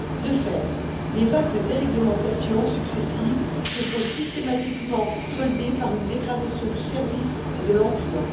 De fait, les vagues de déréglementation successives se sont systématiquement soldées par une dégradation du service et de l'emploi.